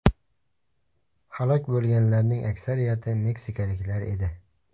Halok bo‘lganlarning aksariyati meksikaliklar edi.